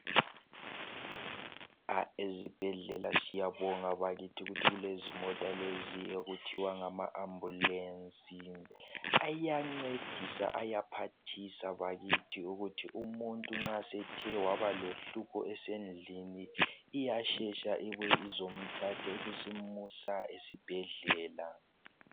Ezibhedlela siyabonga bakithi ukuthi kulezimota lezi okuthiwa ngama ambulance ayancedisa ayaphathisa bakithi ukuthi umuntu nxa esethe waba lohlupho esendlini iyaphangisa ibuye izomthatha ibisimusa esibhedlela.